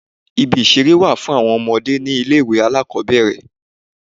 Ibi ìṣeré wà fún àwọn ọmọdé ni ilé ìwé alákòbẹ̀rẹ̀.